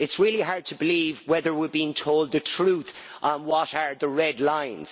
It is really hard to believe whether we are being told the truth on what are the red lines.